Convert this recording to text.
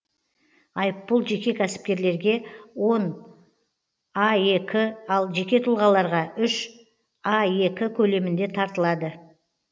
айыппұл жеке кәсіпкерлерге он аек ал жеке тұлғаларға үш аек көлемінде тартылады